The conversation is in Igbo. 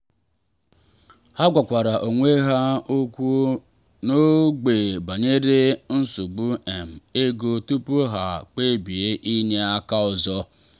ha gwakwara onwe ha okwu n’ogbe banyere nsogbu um ego tupu ha kpebie inye aka ọzọ.